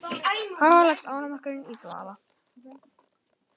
Þar leggst ánamaðkurinn í dvala.